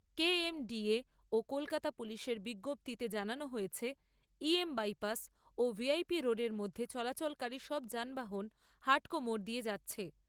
KMDA ও কলকাতা পুলিশের বিজ্ঞপ্তিতে জানানো হয়েছে, ইএম বাইপাস ও ভিআইপি রোডের মধ্যে চলাচলকারী সব যানবাহন হাড্কো মোড় দিয়ে যাচ্ছে।